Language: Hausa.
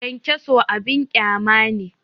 Kyankyaso abin ƙyama ne